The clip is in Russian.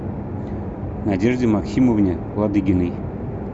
надежде максимовне ладыгиной